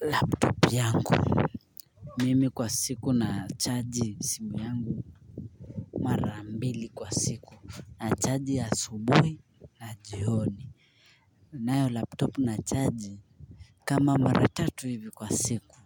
laptop yangu Mimi kwa siku na charge simu yangu marambili kwa siku na charge asubuhi jioni nayo laptop na charge kama maratatu hivi kwa siku.